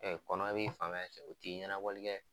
Ɛɛ kɔnɔ b'i fan ci o ti ɲɛnabɔli kɛ